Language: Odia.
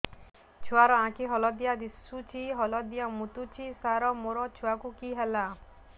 ଛୁଆ ର ଆଖି ହଳଦିଆ ଦିଶୁଛି ହଳଦିଆ ମୁତୁଛି ସାର ମୋ ଛୁଆକୁ କି ହେଲା